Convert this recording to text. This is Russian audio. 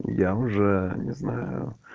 я уже не знаю